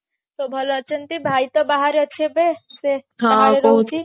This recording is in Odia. ସବୁ ଭଲ ଅଛନ୍ତି ଭାଇ ତ ବାହାରେ ଅଛି ଏବେ ସେ ବାହାରେ ରହୁଛି